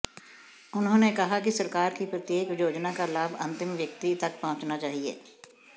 उन्होंने कहा कि सरकार की प्रत्येक योजना का लाभ अंतिम व्यक्ति तक पहुंचना चाहिए